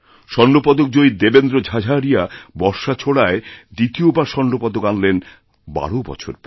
স্বর্ণপদকজয়ী দেবেন্দ্র ঝাঝারিয়া বর্শা ছোড়ায় দ্বিতীয় বার স্বর্ণপদক আনলেন বারোবছর পরে